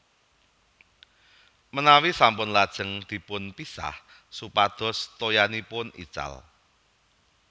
Menawi sampun lajeng dipun pisah supados toyanipun ical